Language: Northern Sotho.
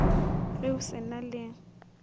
ge o se na le